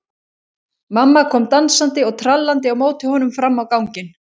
Mamma kom dansandi og trallandi á móti honum fram á ganginn.